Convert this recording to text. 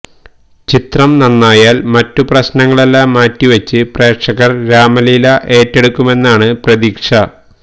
ചിത്രം നന്നായാല് മറ്റു പ്രശ്നങ്ങളെല്ലാം മാറ്റിവെച്ച് പ്രേക്ഷകര് രാമലീല ഏറ്റെടുക്കുമെന്നാണ് പ്രതീക്ഷ